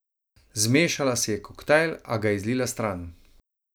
Zmešala si je koktajl, a ga je zlila stran.